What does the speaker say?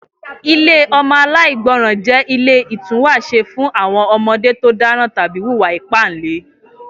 Ilé ọmọ aláìgbọràn jẹ́ ilé ìtúwàṣe fún àwọn ọmọdé tó dáràn tàbí wùwà ìpáǹle